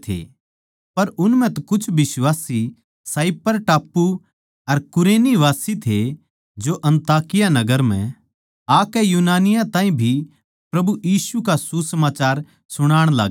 पर उन म्ह तै कीमे साइप्रस टापू अर कुरेनवासी थे जो अन्ताकिया नगर म्ह आकै यूनानियाँ ताहीं भी प्रभु यीशु का सुसमाचार सुणाण लाग्गे